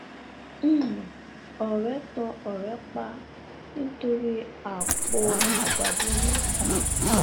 um ọrẹ tan ọrẹ rẹ pa nítorí àpò ààgbàdo mẹta